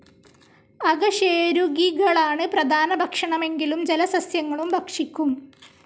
അകശേരുകികളാണ് പ്രധാന ഭക്ഷണമെങ്കിലും ജലസസ്സ്യങ്ങളും ഭക്ഷിക്കും.